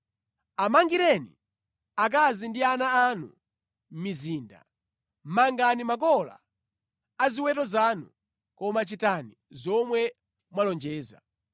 Amangireni akazi ndi ana anu mizinda, mangani makola a ziweto zanu, koma chitani zomwe mwalonjeza.”